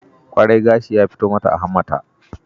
Kwarai! Gashi ya fito mata a hammata.